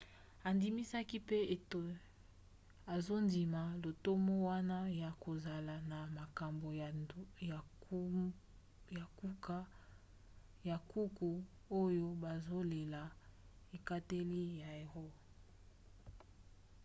andimisaki mpe ete azondima lotomo wana ya kozala na makambo ya nkuku oyo bazozela ekateli ya roe